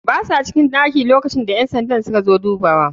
Basa cikin ɗakin lokacinda ƴansandan suka zo dubawa.